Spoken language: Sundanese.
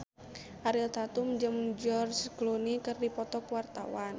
Ariel Tatum jeung George Clooney keur dipoto ku wartawan